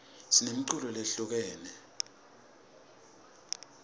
sinemiculo lehlukahlukene